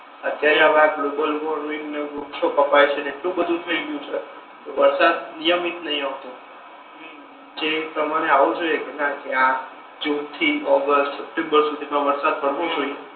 અત્યારે હવે આ ગ્લોબળવોર્મિંગ ને એવુ બધુ વૃક્ષો કપાય છે ને એટલુ બધુ થઈ ગયુ છે અને વરસાદ નિયમિત નહી આવતો હમ હમ જે તમારે આવો જોઈએ ના કે આ જૂન થી ઓગેસ્ટ સપ્ટેમ્બર સુધી નો વરસાદ પડવો જોઈએ